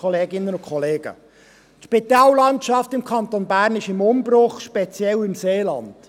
Die Spitallandschaft im Kanton Bern ist in Umbruch, speziell im Seeland.